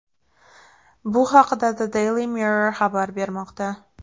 Bu haqda The Daily Mirror xabar bermoqda .